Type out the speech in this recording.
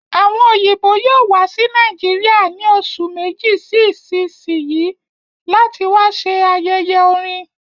Àwọn òyìnbó yóò wá sí Nàìjíríà ní oṣù Méjì sí isisiyi láti wá ṣẹ ayẹyẹ orin